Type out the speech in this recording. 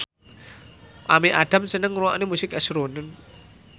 Amy Adams seneng ngrungokne musik srunen